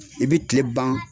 I bɛ tile ban